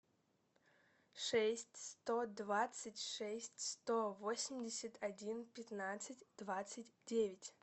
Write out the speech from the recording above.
шесть сто двадцать шесть сто восемьдесят один пятнадцать двадцать девять